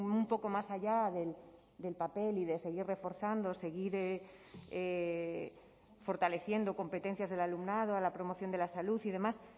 un poco más allá del papel y de seguir reforzando seguir fortaleciendo competencias del alumnado a la promoción de la salud y demás